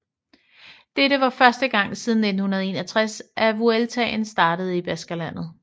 Dette var første gang siden 1961 at Vueltaen startede i Baskerlandet